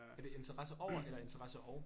Er det interesse over eller interesse og